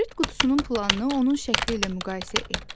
Kibrit qutusunun planını onun şəkli ilə müqayisə et.